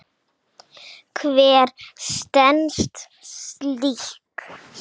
Hver stenst slíkt?